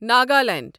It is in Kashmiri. ناگالینڈ